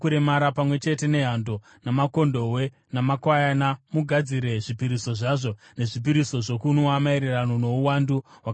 Pamwe chete nehando, namakondobwe, namakwayana, mugadzire zvipiriso zvazvo nezvipiriso zvokunwa maererano nouwandu hwakarayirwa.